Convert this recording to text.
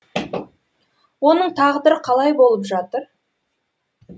оның тағдыры қалай болып жатыр